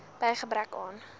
by gebrek aan